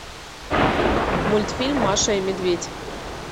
мультфильм маша и медведь